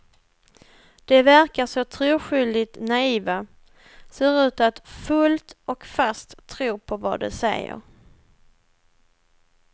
De verkar så troskyldigt naiva, ser ut att fullt och fast tro på vad de säger.